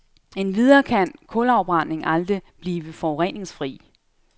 Endvidere kan kulafbrænding aldrig blive forureningsfri.